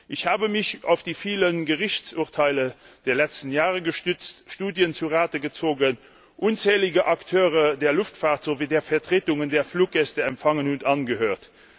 Ich habe mich auf die vielen Gerichtsurteile der letzten Jahre gestützt, Studien zu Rate gezogen, unzählige Akteure der Luftfahrt sowie der Vertretungen der Fluggäste empfangen und angehört.